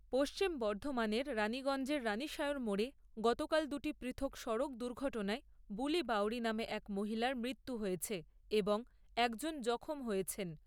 পশ্চিম বর্ধমানের রাণীগঞ্জের রাণীসায়র মোড়ে গতকাল দুটি পৃথক সড়ক দুর্ঘটনায় বুলি বাঊরি নামে এক মহিলার মৃত্যু হয়েছে এবং একজন জখম হয়েছেন।